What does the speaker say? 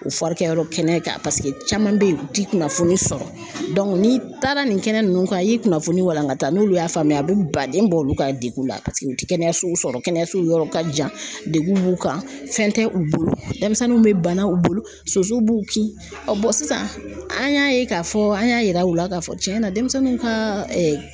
O kɛyɔrɔ kɛnɛ kan paseke caman bɛ ye u ti kunnafoni sɔrɔ ni taara nin kɛnɛ nunnu kan i ye kunnafoni walankata n'olu y'a faamuya a bɛ baden bɔ olu ka degun la paseke u tɛ kɛnɛyasow sɔrɔ kɛnɛyasow yɔrɔ ka jan dekun b'u kan fɛn tɛ u bolo denmisɛnninw bɛ bana u bolo sosow b'u kin sisan an y'a ye k'a fɔ an y'a yira u la k'a fɔ tiɲɛn na denmisɛnninw kaaa